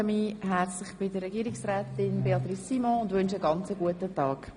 Ich bedanke mich herzlich bei Frau Regierungsrätin Simon und wünsche ihr einen guten Tag.